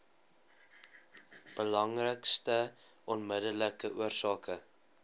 belangrikste onmiddellike oorsake